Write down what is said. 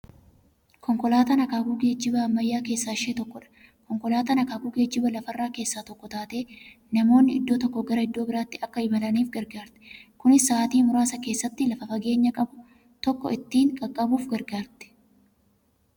Konkolaataan akaakuu geejjiba ammayyaa keessaa ishee tokkodha. Konkolaatan akaakuu geejjiba lafarraa keessaa tokko taatee, namoonni iddoo tokkoo gara iddoo birraatti Akka imalaniif gargaarti. Kunis sa'aatii muraasa keessatti lafa fageenya qabu tokko ittiin qaqqabuuf gargaarti.